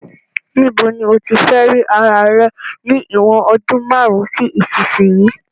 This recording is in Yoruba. Ni bo ni o tí fe ri ara rẹ ni ìwòn odún marun si isínsìnyí